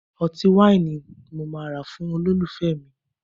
Ọtí wáìnì ni mo máa rà fún olólùfẹ́ mi